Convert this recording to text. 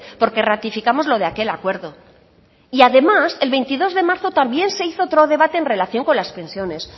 porque ratificamos lo de aquel acuerdo y además el veintidós de marzo también se hizo otro debate en relación con las pensiones